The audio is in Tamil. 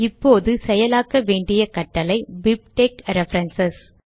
இப்போது செயலாக்க வேண்டிய கட்டளை பிப்டெக்ஸ் ரெஃபரன்ஸ்